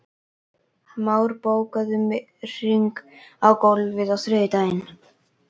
Már, bókaðu hring í golf á þriðjudaginn.